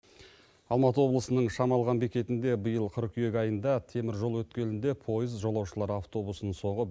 алматы облысының шамалған бекетінде биыл қыркүйек айында теміржол өткелінде поезд жолаушылар автобусын соғып